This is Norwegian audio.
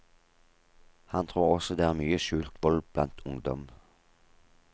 Han tror også det er mye skjult vold blant ungdom.